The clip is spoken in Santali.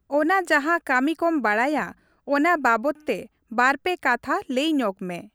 ᱚᱱᱟ ᱡᱟᱦᱟᱸ ᱠᱟ.ᱢᱤ ᱠᱚᱢ ᱵᱟᱲᱟᱭᱟ ᱚᱱᱟ ᱵᱟᱵᱚᱫ ᱛᱮ ᱵᱟᱨᱼᱯᱮ ᱠᱟᱛᱷᱟ ᱞᱟᱹᱭ ᱧᱚᱜᱽ ᱢᱮ ᱾